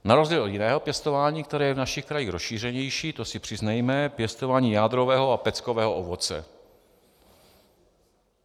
Na rozdíl od jiného pěstování, které je v našich krajích rozšířenější, to si přiznejme, pěstování jádrového a peckového ovoce.